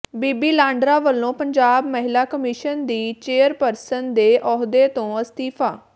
ਬੀਬੀ ਲਾਂਡਰਾ ਵਲੋਂ ਪੰਜਾਬ ਮਹਿਲਾ ਕਮਿਸ਼ਨ ਦੀ ਚੇਅਰਪਰਸਨ ਦੇ ਅਹੁਦੇ ਤੋਂ ਅਸਤੀਫ਼ਾ